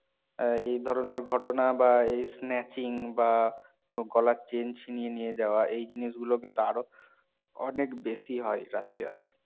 এই ধরণের ঘটনা বা এই snatching বা গলার chain ছিনিয়ে নিয়ে যাওয়া এই জিনিসগুলো কিন্তু আরো অনেক বেশি হয় রাশিয়াতে